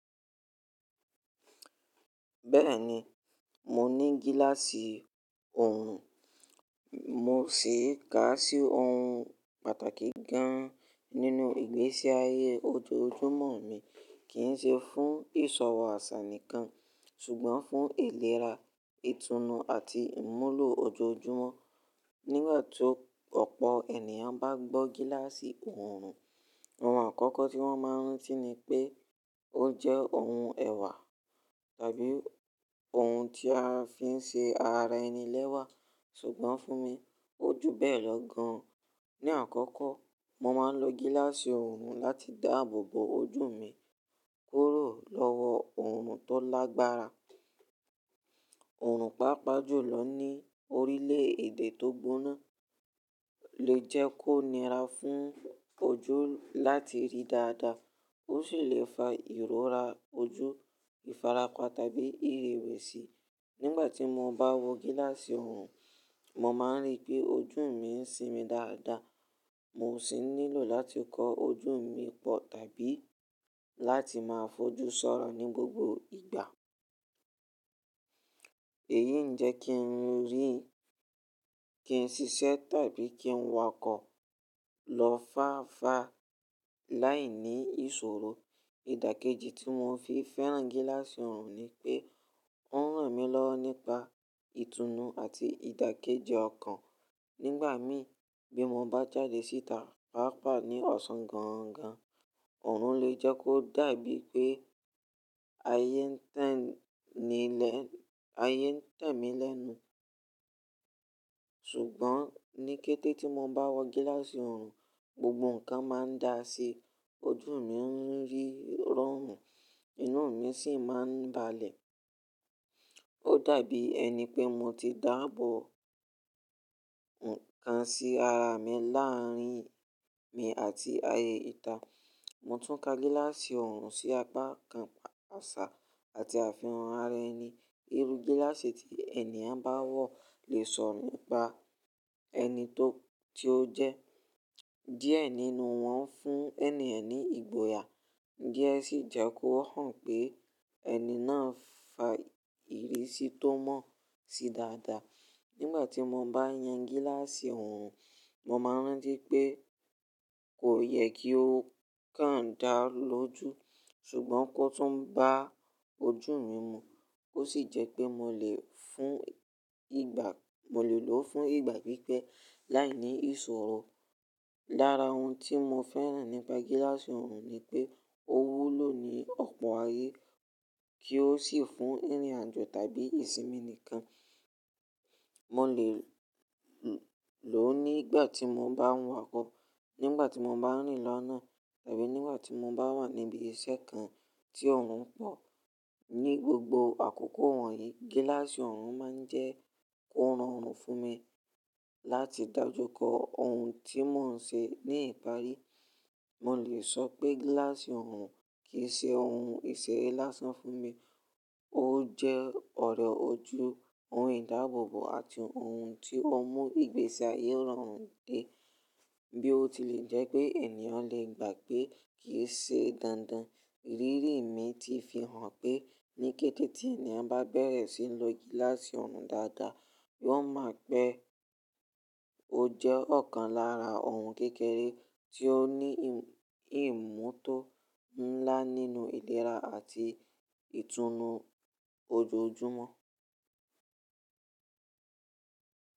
Bẹ́ẹ̀ni, mo ní gíláàsì orùn, mo sì ká sí òun pàtàkì gan-an nínú ìgbésí ayé ojoojúmọ́ mi. Kì í ṣe fún ìsọwọ́ àṣà nìkan, ṣùgbọ́n fún ìlera, ìtùnú àti ìmúlò ojoojúmọ́. Nígbà tó ọ̀pọ̀ ènìyàn bá gbọ́ gíláàsì orùn, ohun àkọ́kọ́ tí wọ́n máa rántí ni pé ó jẹ́ ohun ẹ̀wà tàbí ohun tí a fi ń ṣe ara ẹni lẹ́wà. Ṣùgbọ́n fún mi, ó ju bẹ́ẹ̀ lọ gan-an. Ní àkọ́kọ́, mo máa ń lo gíláàsì orùn láti dáàbò bo ojú mi kúrò lọ́wọ́ orùn tó lágbára. Òrùn pàápàá jùlọ ní orílẹ̀-èdè tó gbóná lè jẹ́ kó nira fún ojú láti rí dáadáa, ó sì lè fa ìrora ojú, ìfarapa tàbí ìrewẹ̀sì. Nígbà tí mo bá wọ gíláàsì ọrùn, mo máa ń rí pé ojú mi ń sinmi dáadáa. Mo sì nílò láti kọ ojú mi pọ̀ tàbí láti máa fojú sọ́rọ̀ ní gbogbo ìgbà. Èyí ń jẹ́ kí n rí, kí n ṣiṣẹ́ tàbí kí n wakọ̀ lọ fáfa láìní ìṣòro. Ìdàkejì tí mo fi fẹ́ràn gíláàsì orùn ni pé ó ń ràn mí lọ́wọ́ nípa ìtùnú àti ìdàkejì ọkàn. Nígbà mì, bí mo bá jáde síta pàápàá ní ọ̀sán gangan, ọrùn lè jẹ́ kó dàbí pé ayé ayé ń tẹ̀ mí lẹ́nu. Ṣùgbọ́n ní kété tí mo bá wọ gíláàsì ọrùn, gbogbo nǹkan máa ń da sí i. Ojú mi ó ń rí rọrùn, inú mi sì máa ń balẹ̀. Ó dàbí ẹni pé mo ti dáàbò nǹkan sí ara mi láàrín mi àti ayé ìta. Mo tún ka gíláàsì ọrùn sí apá kan àṣà àti àfihàn ara ẹni. Irú gíláàsì tí ènìyàn bá wọ̀ lè sọ nípa ẹni tó jẹ́. Díẹ̀ nínú wọn ń fún ènìyàn ní ìgboyà, díẹ̀ sì jẹ́ kó hàn pé ẹni náà fa ìrísí tó mọ̀ sí dáadáa. Nígbà tí mo bá yan gíláàsì orùn, mo máa ń rántí pé kò yẹ kí ó káǹ dáa lójú, ṣùgbọ́n kó tún bá ojú mi mu. Ó sì jẹ́ pé mo lè lo fún ìgbà pípẹ́ láìní ìṣòro. Lára ohun tí mo fẹ́ràn nípa gíláàsì orùn ni pé ó wúlò ní ọ̀pọ̀ ayé, kí ó sì fún ìrìnàjò tàbí ìsinmi nìkan. Mo lè lò ó nígbà tí mo bá ń wakọ̀, nígbà tí mo bá ń rìn lọ́nà tàbí nígbà tí mo bá wà níbi iṣẹ́ kan tí orùn pọ̀. Ni gbogbo àkókò wọ̀nyí, gíláàsì orùn máa ń jẹ́ kó rọrùn fún mi láti dájú kó ohun tí mò ń ṣe ní ìparí. Mo lè sọ pé gíláàsì orùn kì í ṣe ohun ìṣeré lásán fún mi, ó jẹ́ ọ̀rẹ̀ ojú, ohun ìdáàbòbò àti ohun tí ó mú ìgbésí ayé rọrùn dé. Bí ó tilẹ̀ jẹ́ pé ènìyàn lè gbà pé kì í ṣe dandan, ìrírí mi ti fi hàn pé ní kété tí ènìyàn bá bẹ̀rẹ̀ sí ní lo gíláàsì orùn dáadáa, yóò mọ̀ pé ó jẹ́ ọ̀kan lára ohun kékeré tí ó ní ìmùtọ́ ńlá nínú ìlera àti ìtùnú ojoojúmọ́.